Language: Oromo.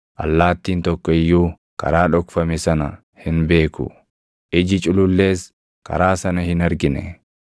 Allaattiin tokko iyyuu karaa dhokfame sana hin beeku; iji culullees karaa sana hin argine.